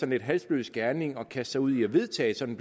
lidt halsløs gerning at kaste sig ud i at vedtage sådan